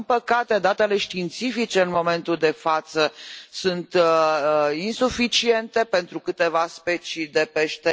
Din păcate, datele științifice în momentul de față sunt insuficiente pentru câteva specii de pește.